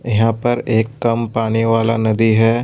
यहां पर एक कम पानी वाला नदी है।